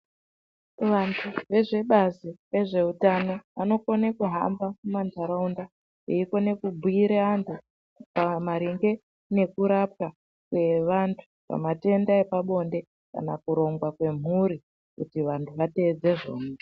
Vandu vezve bazi rezveutano vanokone kuhamba mumandaraunda eyikona kubhuyirw vandu maringe nekurapwa kwevandu pamatenda epabonde kana kuronga kwemhuri kuti vandu vateedze zvona.